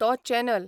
तो चॅनल